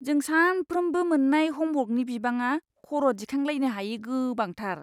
जों सानफ्रोमबो मोन्नाय ह'मवर्कनि बिबाङा खर' दिखांलायनो हायै गोबांथार!